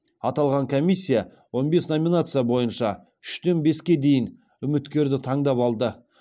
аталған комиссия он бес номинация бойынша үштен беске дейін үміткерді таңдап алды